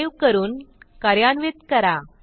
save करून कार्यान्वित करा